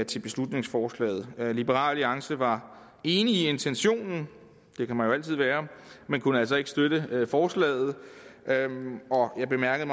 til beslutningsforslaget liberal alliance var enig i intentionen det kan man jo altid være men kunne altså ikke støtte forslaget jeg bemærkede